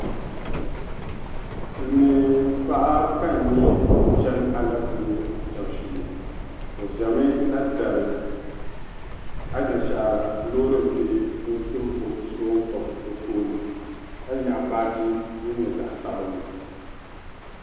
Silimiinpaɣa ka n nya ka o chani alɛpile kpɛbu shee o ʒɛmi na dari anashara loori bihi ni o ti o bi' so o n-kpabi o tooni ka nyaɣi baaji din nyɛ zaɣ' sabinli.